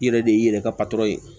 I yɛrɛ de y'i yɛrɛ ka patɔrɔn ye